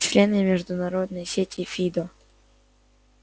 члены международной сети фидо